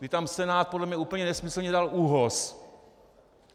Kdy tam Senát podle mě úplně nesmyslně dal ÚOHS.